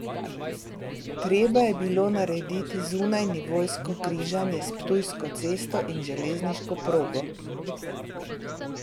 Treba je bilo narediti zunajnivojsko križanje s Ptujsko cesto in železniško progo.